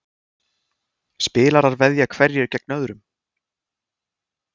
Spilarar veðja hverjir gegn öðrum.